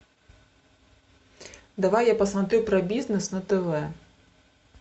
давай я посмотрю про бизнес на тв